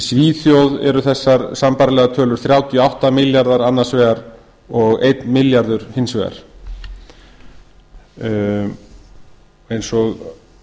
svíþjóð eru sambærilega tölur þrjátíu og átta milljarðar annars vegar og einn milljarður hins vegar eins og